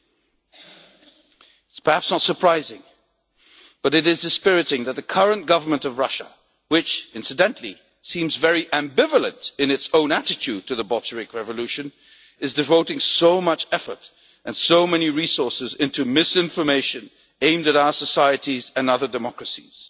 It is perhaps not surprising, but it is dispiriting, that the current government of Russia, which incidentally seems very ambivalent in its own attitude to the Bolshevik revolution, is devoting so much effort and so many resources into misinformation aimed at our societies and other democracies.